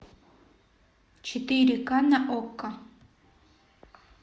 четыре к на окко